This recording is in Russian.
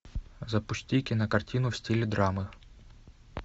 запусти кинокартину в стиле драмы